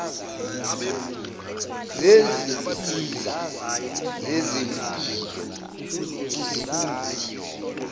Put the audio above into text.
zezinsiza zezempilo kuzigodi